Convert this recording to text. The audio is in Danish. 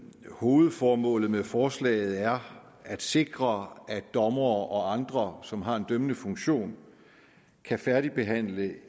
hovedformålet med forslaget er at sikre at dommere og andre som har en dømmende funktion kan færdigbehandle